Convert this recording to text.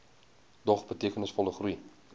dog betekenisvolle groei